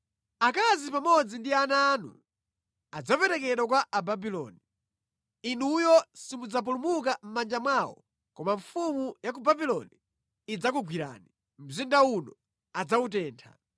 “Akazi pamodzi ndi ana anu adzaperekedwa kwa Ababuloni. Inuyo simudzapulumuka mʼmanja mwawo koma mfumu ya ku Babuloni idzakugwirani; mzinda uno adzawutentha.”